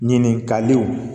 Ɲininkaliw